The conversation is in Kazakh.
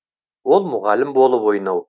ол мұғалім болып ойнау